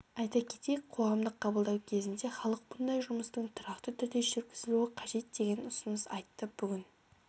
айта кетейік қоғамдық қабылдау кезінде халық мұндай жұмыстың тұрақты түрде жүргізілуі қажет деген ұсыныс айтты бүгін